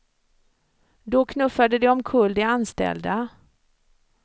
Då knuffade de omkull de anställda.